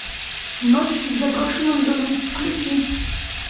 ночь в заброшенном доме включи